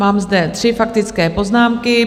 Mám zde tři faktické poznámky.